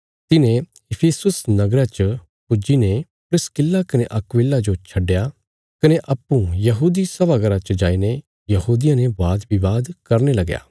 तिन्हें इफिसुस नगरा च पुज्जी ने प्रिस्किल्ला कने अक्विला जो छडया कने अप्पूँ यहूदी सभा घर च जाईने यहूदियां ने वादविवाद करने लगया